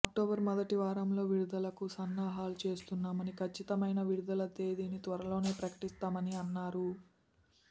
October మొదటివారంలో విడుదలకు సన్నాహాలు చేస్తున్నామని కచ్చితమైన విడుదల తేదిని త్వరలోనే ప్రకటిస్తామని అన్నారు